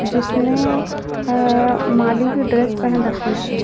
जिसने अ माली की ड्रेस पहन रखी है।